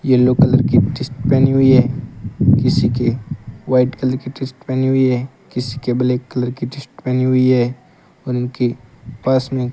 yellow colour की t-shirt पहनी हुई है किसी के व्हाइट कलर के टी-शर्ट पहनी हुई है किसी के ब्लैक कलर की टी-शर्ट पहनी हुई है और उनके पास में --